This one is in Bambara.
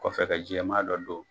Kɔfɛ ka jɛman dɔ don.